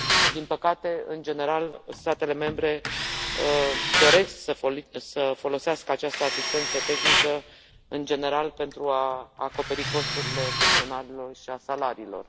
Din păcate, în general, statele membre doresc să folosească această asistență tehnică, în general, pentru a acoperi costurile personalului și a salariilor.